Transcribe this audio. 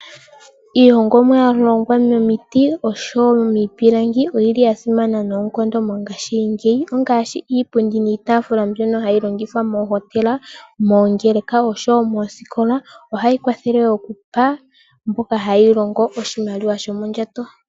Iihongomwa ya hongwa momiti nosho woo miipilangi oyili ya simana noonkondo mongaashingeyi. Ongaashi nee iipundi niitaafula mbyono hayi longithwa moohotela, moongeleka osho woo moositola . Ohayi kwathele okupa mboka ha ye yi longo oshimaliwa shomondjato.